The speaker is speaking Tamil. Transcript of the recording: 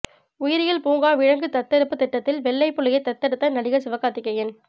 உயிரியல் பூங்கா விலங்கு தத்தெடுப்பு திட்டத்தில் வெள்ளை புலியை தத்தெடுத்த நடிகர் சிவகார்த்திகேயன்